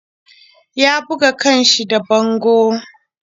Ya buga kan shi da bango.